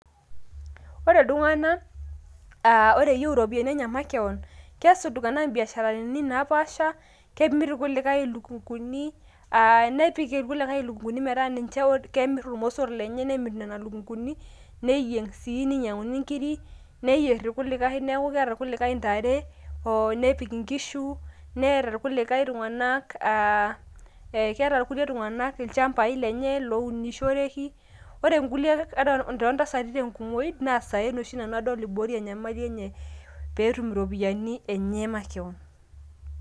ore iltungana ore eyieu ropiyiani enye makewon, kees iltunganak ibiasharini enye napaasha, kemir irkulikae ilukunguni, aa nepik irkulikae ilukunguni metaa kemir irmosor lenye, neyieng' sii ninyiang'uni nkiri. neyier irkulikae, neeku keeta irkulie tunganak inare nepik irkulikae inkishu, keeta irkulie tungana nirem ilcampai lenye, ore intasati nemir isaen iaborie enyamali enye makewon.